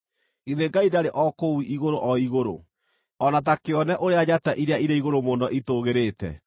“Githĩ Ngai ndarĩ o kũu igũrũ o igũrũ? O na ta kĩone ũrĩa njata iria irĩ igũrũ mũno itũũgĩrĩte!